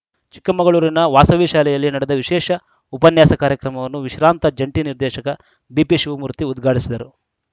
ಚಿಕ್ಕಮಗಳೂರಿನ ವಾಸವಿ ಶಾಲೆಯಲ್ಲಿ ನಡೆದ ವಿಶೇಷ ಉಪನ್ಯಾಸ ಕಾರ್ಯಕ್ರಮವನ್ನು ವಿಶ್ರಾಂತ ಜಂಟಿ ನಿರ್ದೇಶಕ ಬಿಪಿ ಶಿವಮೂರ್ತಿ ಉದ್ಘಾಟಿಸಿದರು